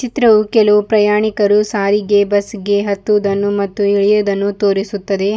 ಚಿತ್ರವು ಕೆಲವು ಪ್ರಯಾಣಿಕರು ಸಾರಿಗೆ ಬಸ್ಸಿಗೆ ಹತ್ತುವುದನ್ನುಮತ್ತು ಇಳಿಯುವುದನ್ನು ತೋರಿಸುತ್ತದೆ.